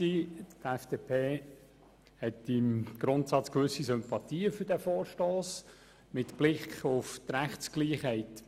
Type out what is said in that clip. Die FDP hat im Grundsatz gewisse Sympathien für den Vorstoss, mit Blick auf die Rechtsgleichheit.